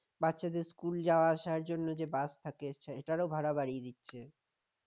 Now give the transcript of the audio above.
বাচ্চাদের school যাওয়া আসার জন্য যে বাস থাকে এটারও ভাড়া বাড়িয়ে দিচ্ছে